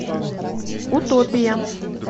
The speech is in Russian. утопия